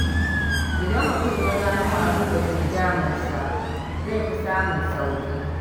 Idan mutum ya gano abin da ke damunsa, zai fi samun sauƙi.